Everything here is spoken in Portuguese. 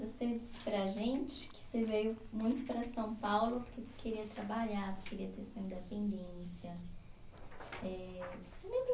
Você disse para a gente que você veio muito para São Paulo porque você queria trabalhar, você queria ter sua independência. Eh